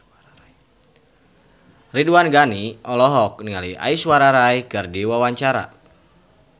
Ridwan Ghani olohok ningali Aishwarya Rai keur diwawancara